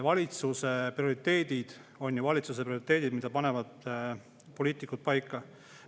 Valitsuse prioriteedid on ju prioriteedid, mille panevad poliitikud paika.